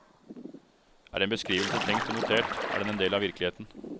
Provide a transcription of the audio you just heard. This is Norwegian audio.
Er en beskrivelse tenkt og notert, er den en del av virkeligheten.